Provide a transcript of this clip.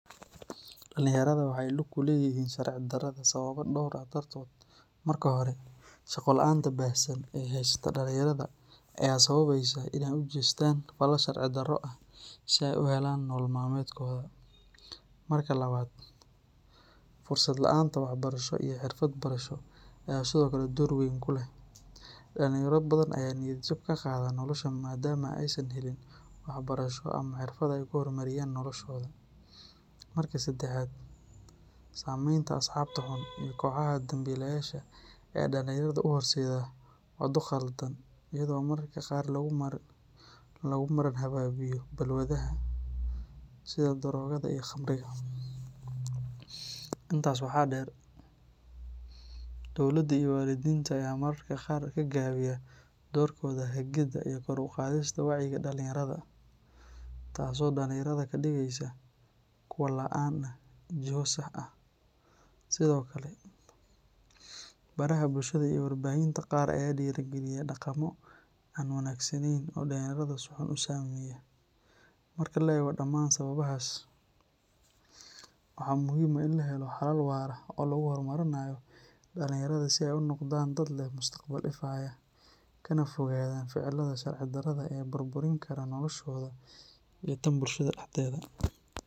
Dhalinyarada waxa ay lug ku leeyihiin sharci darrada sababo dhowr ah dartood. Marka hore, shaqo la’aanta baahsan ee haysata dhalinyarada ayaa sababaysa in ay u jeestaan falal sharci darro ah si ay u helaan nolol maalmeedkooda. Marka labaad, fursad la’aanta waxbarasho iyo xirfad barasho ayaa sidoo kale door weyn ku leh; dhalinyaro badan ayaa niyad jab ka qaada nolosha maadaama aysan helin waxbarasho ama xirfad ay ku horumariyaan noloshooda. Marka saddexaad, saameynta asxaabta xun iyo kooxaha dambiilayaasha ayaa dhalinyarada u horseeda waddo khaldan, iyadoo mararka qaar lagu marin habaabiyo balwadaha sida daroogada iyo khamriga. Intaas waxaa dheer, dowladda iyo waalidiinta ayaa mararka qaar ka gaabiya doorkooda hagida iyo kor u qaadista wacyiga dhalinyarada, taasoo dhalinyarada ka dhigaysa kuwo la'aan ah jiho sax ah. Sidoo kale, baraha bulshada iyo warbaahinta qaar ayaa dhiirrigeliya dhaqammo aan wanaagsanayn oo dhalinyarada si xun u saameeya. Marka la eego dhammaan sababahaas, waxaa muhiim ah in la helo xalal waara oo lagu horumarinayo dhalinyarada si ay u noqdaan dad leh mustaqbal ifaya, kana fogaadaan ficilada sharci darrada ah ee burburin kara noloshooda iyo tan bulshada dhexdeeda.